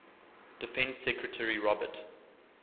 defense secretary robert